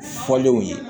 Fɔlenw ye